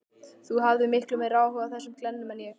Þú hafðir miklu meiri áhuga á þessum glennum en mér.